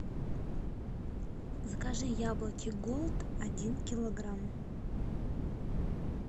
закажи яблоки голд один килограмм